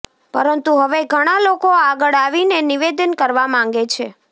પરંતુ હવે ઘણા લોકો આગળ આવીને નિવેદન કરવા માંગે છે